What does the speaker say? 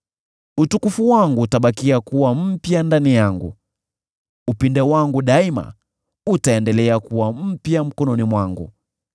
Utukufu wangu utabakia kuwa mpya ndani yangu, upinde wangu daima utaendelea kuwa mpya mkononi mwangu.’